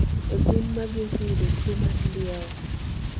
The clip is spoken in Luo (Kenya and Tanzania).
Be gwen magi oseyudo tuwo mar ndieo?